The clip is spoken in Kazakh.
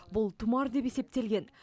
бұл тұмар деп есептелген